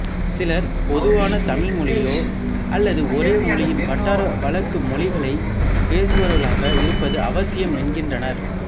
சிலர் பொதுவான தாய்மொழியோ அல்லது ஒரே மொழியின் வட்டார வழக்கு மொழிகளைப் பேசுபவர்களாக இருப்பது அவசியம் என்கின்றனர்